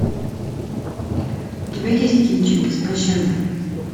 у тебя есть кинчик без пощады